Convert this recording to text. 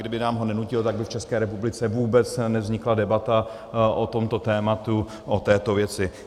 Kdyby nám ho nenutil, tak by v České republice vůbec nevznikla debata o tomto tématu, o této věci.